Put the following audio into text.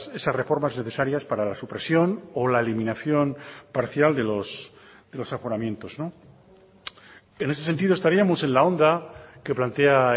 esas reformas necesarias para la supresión o la eliminación parcial de los aforamientos en ese sentido estaríamos en la onda que plantea